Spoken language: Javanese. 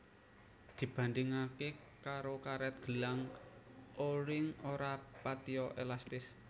Dibandhingake karo karet gelang O ring ora patiya elastis